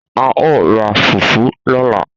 A o ra fùfú lọ́la